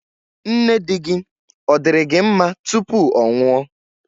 Nne di-gi, ọ̀ diri gi nma tupu ọ nwụọ?